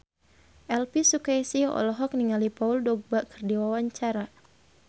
Elvy Sukaesih olohok ningali Paul Dogba keur diwawancara